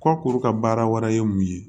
Kɔkuru ka baara wɛrɛ ye mun ye